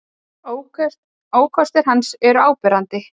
Ókostir hans eru áberandi.